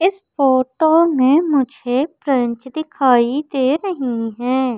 इस फोटो मे मुझे प्रेंच दिखाई दे रहीं हैं।